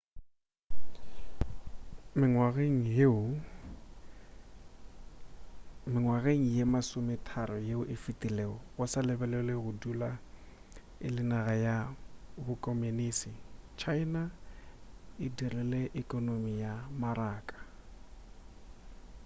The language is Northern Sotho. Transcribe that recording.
mengwageng ye masometharo yeo e fetilego go sa lebelelwe go dula e le naga ya bokomonisi china e dirile ekonomi ya maraka